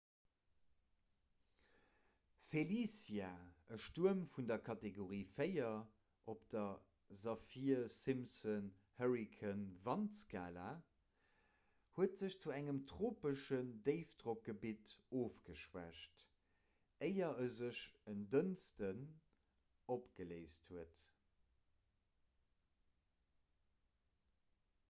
felicia e stuerm vun der kategorie 4 op der saffir-simpson-hurrikan-wandskala huet sech zu engem tropeschen déifdrockgebitt ofgeschwächt éier e sech en dënschdeg opgeléist huet